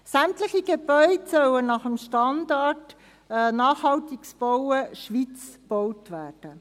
Sämtliche Gebäude sollen nach den Standards Nachhaltiges Bauen Schweiz (SNBS) gebaut werden.